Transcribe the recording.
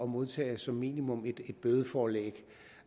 modtage som minimum et bødeforelæg